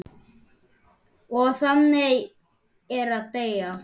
Og þannig er að deyja.